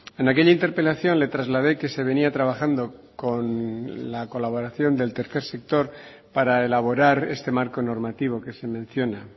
en aquella interpelación le trasladé que se venía trabajando con la colaboración del tercer sector para elaborar este marco normativo que se menciona